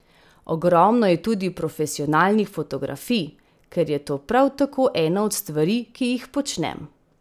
Ogromno je tudi profesionalnih fotografij, ker je to prav tako ena od stvari, ki jih počnem.